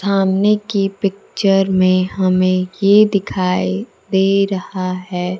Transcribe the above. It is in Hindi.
सामने की पिक्चर में हमें ये दिखाई दे रहा है।